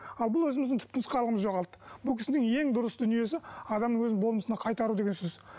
ал бұл өзіміздің түп нұсқалығымызды жоғалтты бұл кісінің ең дұрыс дүниесі адамның өз болмысына қайтару деген сөз